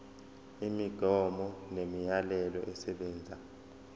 imigomo nemiyalelo esebenza